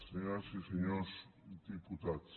senyores i senyors diputats